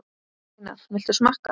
Einar, viltu smakka?